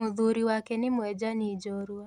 Mũthuri wake nĩ mwejani jorua.